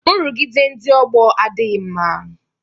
Nrụgide ndị ọgbọ adịghị mma